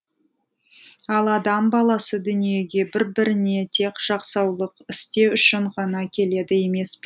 ал адам баласы дүниеге бір біріне тек жақсылық істеу үшін ғана келеді емес